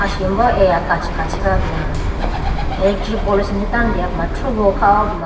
Asimbo eya kachi kachi kha puma electric poll asenji tando deho puma thrugo kha ho puma.